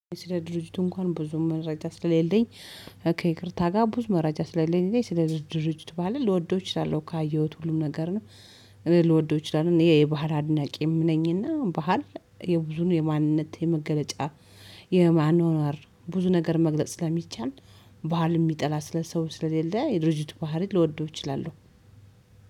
ስለ ድርጅቱ እንኳን ብዙ መረጃ ስለሌለኝ ከይቅርታ ጋር ብዙ መረጃ ስለሌለኝ ስለ ድርጅቱ ባህልን ልወደው እችላለሁ ካየሁት ሁሉም ነገር ነው። እኔ ልወደው እችላለሁ ይሄ የባህር አድናቂም ነኝና ባህር የብዙን የማንነት የመገለጫ የማኖር ብዙ ነገር መግለጽ ስለሚቻል። ባህል የሚጠላ ስለ ሰው ስለሌለ የድርጅት ባህሪ ልወደው እችላለሁ።